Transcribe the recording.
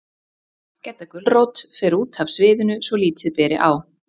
Gedda gulrót fer út af sviðinu, svo lítið beri á